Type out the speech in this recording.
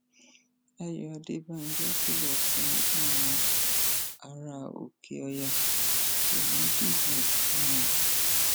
ayọ adébànjọ kìlọ fún àwọn ará òkèọyà kò ní í dìbò fún ọ